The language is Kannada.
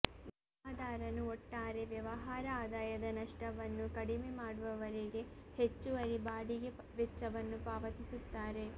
ವಿಮಾದಾರನು ಒಟ್ಟಾರೆ ವ್ಯವಹಾರ ಆದಾಯದ ನಷ್ಟವನ್ನು ಕಡಿಮೆ ಮಾಡುವವರೆಗೆ ಹೆಚ್ಚುವರಿ ಬಾಡಿಗೆ ವೆಚ್ಚವನ್ನು ಪಾವತಿಸುತ್ತಾರೆ